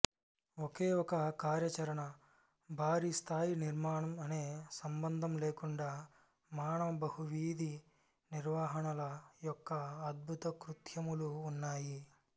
ఒకే ఒక కార్యాచరణ భారీ స్థాయి నిర్మాణం అనే సంబంధం లేకుండా మానవ బహువిధి నిర్వహణల యొక్క అద్భుతకృత్యములు ఉన్నాయి